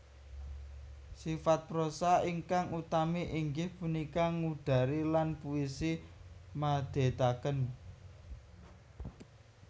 Sifat prosa ingkang utami inggih punika ngudari lan puisi madhetaken